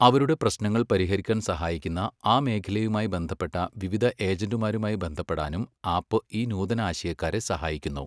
അവരുടെ പ്രശ്നങ്ങൾ പരിഹരിക്കാൻ സഹായിക്കുന്ന ആ മേഖലയുമായി ബന്ധപ്പെട്ട വിവിധ ഏജന്റുമാരുമായി ബന്ധപ്പെടാനും ആപ്പ് ഈ നൂതനാശയക്കാരെ സഹായിക്കുന്നു.